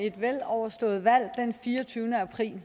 et veloverstået valg den fireogtyvende april det